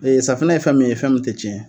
Ee safunɛ ye fɛn min ye fɛn min tɛ tiɲɛ.